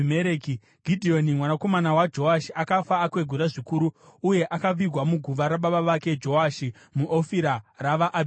Gidheoni mwanakomana waJoashi akafa akwegura zvikuru uye akavigwa muguva rababa vake Joashi muOfira ravaAbhiezeri.